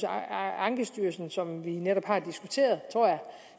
ankestyrelsen som vi netop har diskuteret